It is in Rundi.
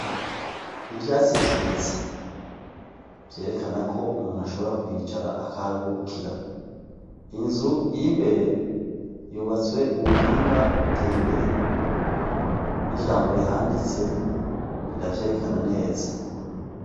Ivyatsi vyiza vyerekana ko umuntu ashobora kuhicara akaharuhukira inzu ir'imbere yubatswe mubuhinga buteye imbere n'ijambo rihanditse rira vyerekana neza .